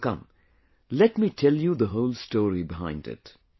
So come, let me tell you the whole story behind it